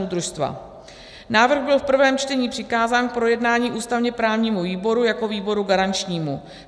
Návrh byl v prvém čtení přikázán k projednání ústavně-právnímu výboru jako výboru garančnímu.